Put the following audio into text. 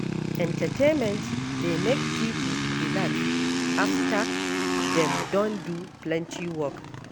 Entertainment dey make pipo relax afta dem don do plenty work.